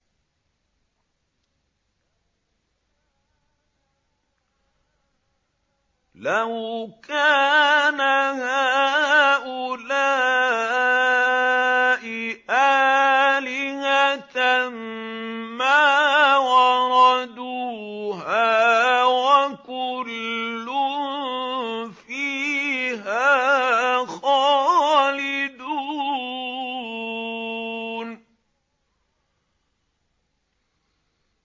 لَوْ كَانَ هَٰؤُلَاءِ آلِهَةً مَّا وَرَدُوهَا ۖ وَكُلٌّ فِيهَا خَالِدُونَ